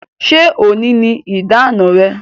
Ṣé òní ni ìdáná rẹ?